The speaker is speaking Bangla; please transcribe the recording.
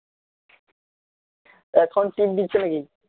এখন team দিচ্ছে নাকি